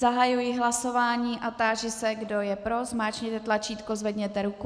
Zahajuji hlasování a táži se, kdo je pro, zmáčkněte tlačítko, zvedněte ruku.